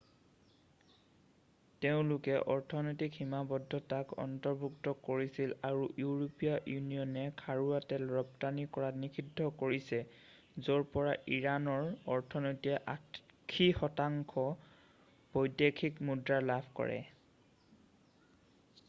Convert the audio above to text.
তেওঁলোকে অৰ্থনৈতিক সীমাদ্ধতাক অন্তৰ্ভুক্ত কৰিছিল আৰু ইউৰোপীয়া ইউনিয়নে খাৰুৱা তেল ৰপ্তানি কৰাত নিষিদ্ধ কৰিছে য'ৰ পৰা ইৰাণৰ অৰ্থনীতিয়ে 80% বৈদেশিক মুদ্ৰা লাভ কৰে